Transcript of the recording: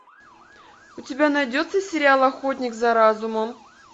у тебя найдется сериал охотник за разумом